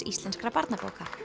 íslenskra barnabóka